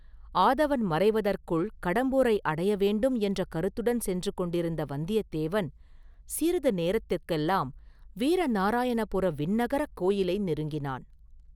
ஆதவன் மறைவதற்குள் கடம்பூரை அடைய வேண்டும் என்ற கருத்துடன் சென்று கொண்டிருந்த வந்தியத்தேவன் சிறிது நேரத்துக்கெல்லாம் வீர நாராயணபுர விண்ணகரக் கோயிலை நெருங்கினான்.